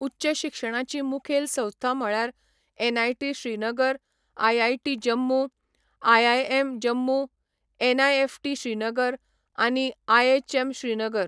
उच्च शिक्षणाचीं मुखेल संस्था म्हळ्यार NIT Srinagar, IIT Jammu, IIM Jammu, NIFT Srinagar, आनी आयएचएम श्रीनगर.